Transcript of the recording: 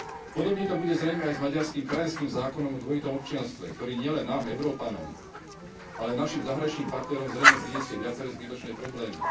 Podobne to bude zrejme aj s maďarským krajanským zákonom o dvojitom občianstve, ktorý nielen nám, Európanom, ale aj našim zahraničným partnerom zrejme prinesie viaceré zbytočné problémy.